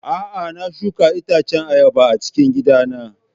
A'a, na shuka itacen ayaba a cikin gidana.